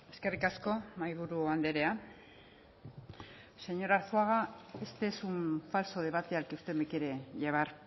eskerrik asko mahaiburu andrea señor arzuaga este un falso debate al que usted me quiere llevar